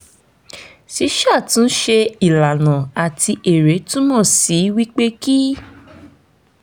ṣíṣàtúnṣe ìlànà àti èrè túmọ̀ sí wípé kí